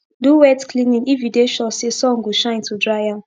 do wet cleaning if u dey sure say sun go shine to dry am